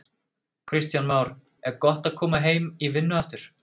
Kristján Már: Er gott að koma heim í vinnu aftur?